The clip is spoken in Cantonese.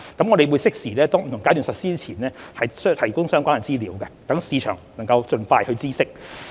我們會適時於不同階段實施之前提供相關資料，讓市場能盡快知悉。